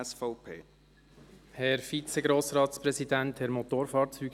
Es ist eine clever formulierte Motion.